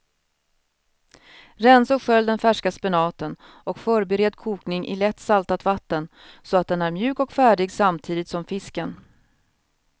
Rensa och skölj den färska spenaten och förbered kokning i lätt saltat vatten så att den är mjuk och färdig samtidigt som fisken.